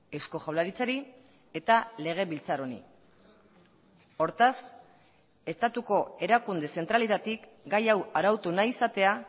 eusko jaurlaritzari eta legebiltzar honi hortaz estatuko erakunde zentraletatik gai hau arautu nahi izatea